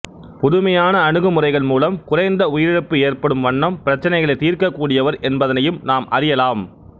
புதுமையான அணுகு முறைகள் மூலம் குறைந்த உயிரிழப்பு ஏற்படும் வண்ணம் பிரச்சனைகளை தீர்க்கக் கூடியவர் என்பதனையும் நாம் அறியலாம்